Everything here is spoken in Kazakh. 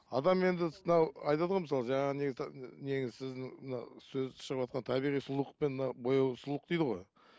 адам енді мынау айтады ғой мысалы жаңа не мынау сөз шығыватқан табиғи сұлулық пен мынау бояулық сұлулық дейді ғой